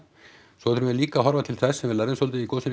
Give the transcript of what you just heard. svo þurfum við líka að horfa til þess sem við lærðum svolítið í gosinu